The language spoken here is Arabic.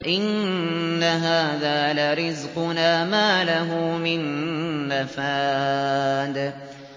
إِنَّ هَٰذَا لَرِزْقُنَا مَا لَهُ مِن نَّفَادٍ